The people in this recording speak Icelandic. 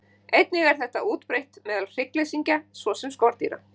Einnig er þetta útbreitt meðal hryggleysingja svo sem skordýra.